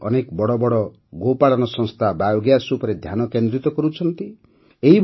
ଆଜି ଅନେକ ବଡ଼ ବଡ଼ ଗୋପାଳନ ସଂସ୍ଥା ବାୟୋଗ୍ୟାସ୍ ଉପରେ ଧ୍ୟାନକେନ୍ଦ୍ରିତ କରୁଛନ୍ତି